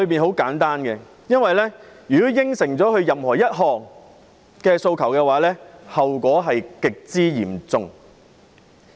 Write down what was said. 很簡單，因為如果答允任何一項訴求，後果極之嚴重。